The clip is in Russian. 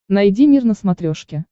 найди мир на смотрешке